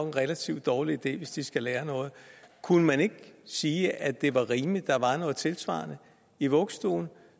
en relativt dårlig idé hvis de skal lære noget kunne man ikke sige at det var rimeligt at der var noget tilsvarende i vuggestuen